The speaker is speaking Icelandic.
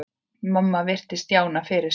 Mamma virti Stjána fyrir sér.